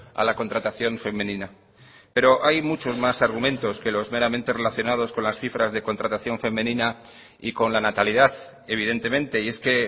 a la contratación femenina pero hay muchos más argumentos que los meramente relacionados con las cifras de contratación femenina y con la natalidad evidentemente y es que